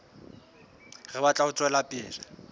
re batla ho tswela pele